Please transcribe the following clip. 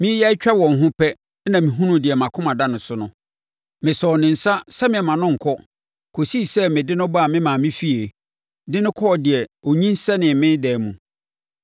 Mereyɛ atwa wɔn ho pɛ na mehunuu deɛ mʼakoma da no so no. Mesɔɔ ne nsa sɛ meremma no nkɔ kɔsii sɛ mede no baa me maame fie, de no kɔɔ deɛ ɔnyinsɛnee me dan mu.